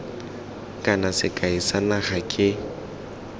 kana sekai sa naga ke